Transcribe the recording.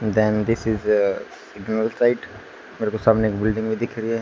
Then this is a मेरे को सामने एक बिल्डिंग भी दिख रही है।